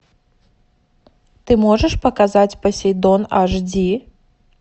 ты можешь показать посейдон аш ди